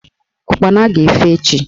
Ụkpana ga-efe echi